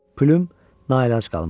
Plyum naəlac qalmışdı.